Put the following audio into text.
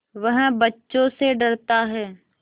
वह बच्चों से डरता है